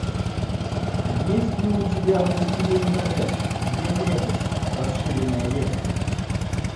есть ли у тебя властелин колец две крепости расширенная версия